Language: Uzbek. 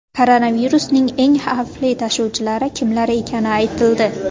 Koronavirusning eng xavfli tashuvchilari kimlar ekani aytildi.